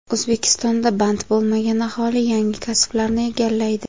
O‘zbekistonda band bo‘lmagan aholi yangi kasblarni egallaydi.